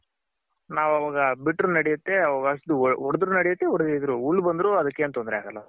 ನಾವ್ ಅವಾಗ ಬಿಟ್ರು ನಡಿಯುತ್ತೆ ಹೊಡೆದ್ರು ನಡೆಯುತ್ತೆ ಹೊಡಿದೆ ಇದ್ರು ಹುಲ್ ಬಂದ್ರು ಅದಕ್ಕೇನ್ ತೊಂದ್ರೆ ಆಗಲ್ಲ